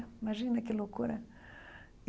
Imagina que loucura!